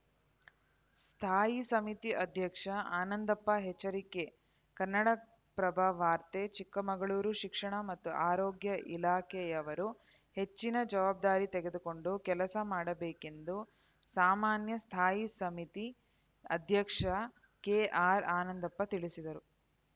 ಸ್ಥಾಯಿ ಸಮಿತಿ ಅಧ್ಯಕ್ಷ ಆನಂದಪ್ಪ ಎಚ್ಚರಿಕೆ ಕನ್ನಡಪ್ರಭ ವಾರ್ತೆ ಚಿಕ್ಕಮಗಳೂರು ಶಿಕ್ಷಣ ಮತ್ತು ಆರೋಗ್ಯ ಇಲಾಖೆಯವರು ಹೆಚ್ಚಿನ ಜವಾಬ್ದಾರಿ ತೆಗೆದುಕೊಂಡು ಕೆಲಸ ಮಾಡಬೇಕೆಂದು ಸಾಮಾನ್ಯ ಸ್ಥಾಯಿ ಸಮಿತಿ ಅಧ್ಯಕ್ಷ ಕೆಆರ್‌ಆನಂದಪ್ಪ ತಿಳಿಸಿದರು